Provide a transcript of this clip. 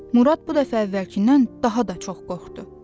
Murad bu dəfə əvvəlkindən daha da çox qorxdu.